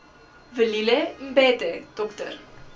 velile mbethe dr